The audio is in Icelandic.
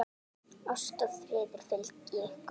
Ást og friður fylgi ykkur.